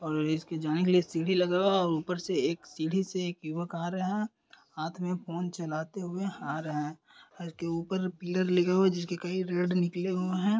और इसके जाने के लिए सीढी लगा हुआ है और ऊपर से सीढ़ी से एक युवक आ रहा है हाथ मे फोन चलाते हुए आ रहा है इसके ऊपर पिलर लगे हुए है जिस के कई रेड निकले हुए है।